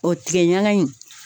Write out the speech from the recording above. O tigɛ ɲaga in